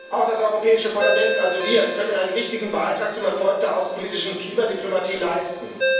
Auch das Europäische Parlament also wir kann einen wichtigen Beitrag zum Erfolg der außenpolitischen Klimadiplomatie leisten.